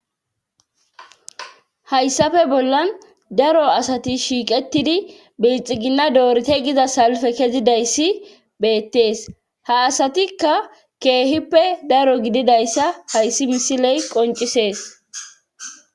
hayssafe bollan daro asati shiiqetidi biilxigina doorite giza salfe kezidayssi beettees ha asatikka keehippe daro gididayssa hayssi misiley qoncisees.